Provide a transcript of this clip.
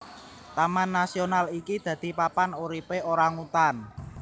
Taman nasional iki dadi papan uripe orangutan